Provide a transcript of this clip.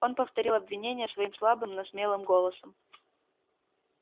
он повторил обвинения своим слабым но смелым голосом